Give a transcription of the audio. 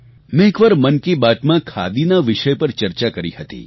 મેં એકવાર મન કી બાતમાં ખાદીના વિષય પર ચર્ચા કરી હતી